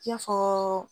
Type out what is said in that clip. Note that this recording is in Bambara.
I n'a fɔ